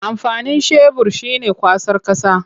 Amfanin shebur shi ne kwasar ƙasa.